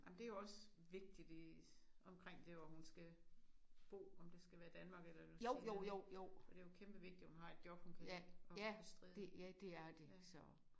Ej men det jo også vigtigt i omkring der hvor hun skal bo om det skal være Danmark eller New Zealand ik. For det jo kæmpevigtigt hun har et job hun kan at hun kan bestride ja